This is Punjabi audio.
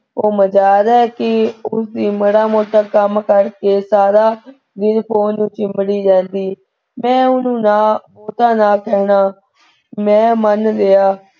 ਉਹ ਮਜਾਲ ਹੈ ਕੀ ਉਸਦੀ ਮਾੜਾ ਮੋਟਾ ਕੰਮ ਕਰਕੇ ਸਾਰਾ ਦਿਨ ਫੋਨ ਵਿਚ ਹੀ ਵੜੀ ਰਹਿੰਦੀ। ਮੈਂ ਉਹਨੂੰ ਨਾ ਨਾ ਕਹਿਣਾ। ਮੈਂ ਮੰਨ ਲਿਆ,